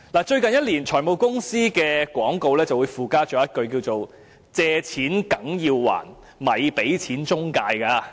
最近一年，財務公司的廣告會附加一句："借錢梗要還，咪俾錢中介"。